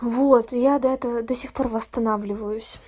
вот я до этого до сих пор восстанавливаюсь